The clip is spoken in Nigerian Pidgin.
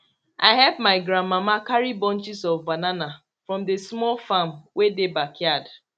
i help my gran mama carry bunches of banana from the small farm wey dey backyard